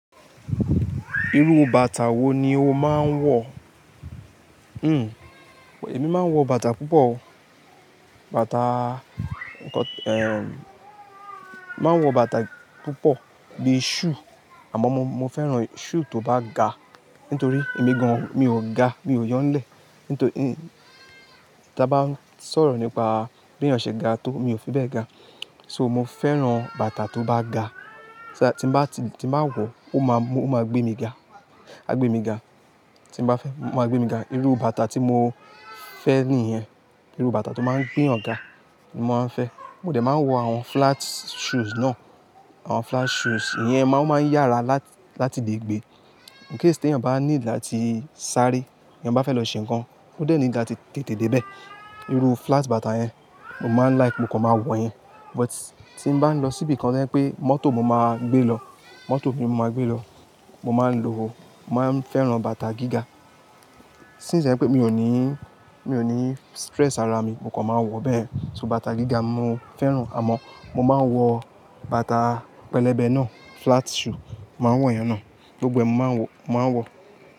Irú bàtà wo ni o máa ń wọ̀? Hmm, èmi máa ń wọ bàtà púpọ̀ o. Bàtà, eh, máa ń wọ bàtà púpọ̀ bí i shoe, àmọ́ mo, mo fẹ́ràn shoe tó bá ga. Nítorí èmi gan-an mi ò ga, mi ò yo n lẹ̀. Nítorí ta bá ń sọ̀rọ̀ nípa bí ènìyàn ṣe ga tó, mi ò fi bẹ́ẹ̀ ga. So mo fẹ́ràn bàtà tó bá ga. Tí bá ti, tí màá wọ̀, ó máa mú, ó máa gbé mi ga. A gbé mi ga. Tí n bá fẹ́, ó máa gbé mi ga. Irú bàtà tí mo fẹ́ nìyẹn. Irú bàtà tó máa ń gbé eeyan ga ni mo máa ń fẹ́. Mo dẹ̀ máa ń wọ àwọn flat shoes náà. Àwọn flat shoes, ìyẹn máa o maa n yára láti lè gbe. In case tí èeyàn bá need áti sáaré, èeyàn bá fẹ́ lọ ṣe nǹkan, ó dẹ̀ need ati tẹ̀tè dé ibẹ̀. Irú flat bàtà yẹn, mo máa ń like mo kan máa wọ̀ yẹn. But tí mo bá ń lọ síbi kan tí o je pé mọ́tò mo máa gbé lọ, mọ́tò ni mo máa gbé lọ, mo máa ń lo, mo máa ń fẹ́ràn bàtà gíga. Since to jẹ pé mi ò ní, mi ò ní stress ara mi, mó kàn máa wọ̀ bẹ́ẹ̀. So bàtà gíga mo fẹ́ràn, àmọ́ mo máa ń wọ bàtà pẹlẹbẹ náà, flat shoe. Mo máa ń wọ̀ ìyẹn náà. Gbogbo ẹ mo máa ń wọ, mo máa ń wọ.